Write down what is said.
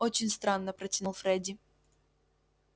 очень странно протянул фредди